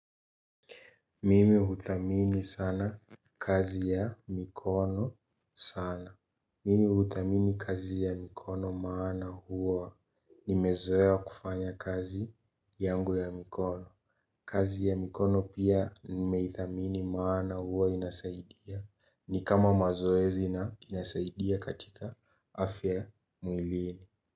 Mimi huthamini sana kazi ya mikono sana. Mimi huthamini kazi ya mikono maana huwa nimezoea kufanya kazi yangu ya mikono. Kazi ya mikono pia nimeithamini maana huwa inasaidia ni kama mazoezi na inasaidia katika afya mwilini.